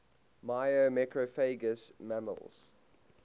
myrmecophagous mammals